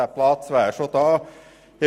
Dieser Platz wäre bereits vorhanden.